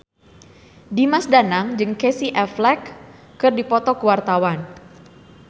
Dimas Danang jeung Casey Affleck keur dipoto ku wartawan